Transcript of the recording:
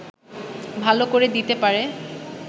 ভালো করে দিতে পারে